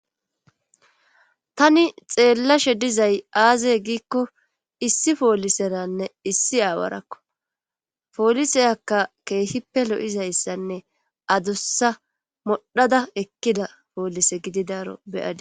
tani xeellashe dizay aazey giikko issi pooliseranne issi aawarakko pooliseyakka keehippe lo7izayssanne adussa modhada ekkida poolise gididaaro beyadi